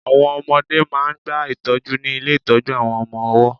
Àwọn ọmọdẹ́ máà ń gba ìtọ́jú ní ilé ìtọ́jú àwọn ọmọ ọwọ́.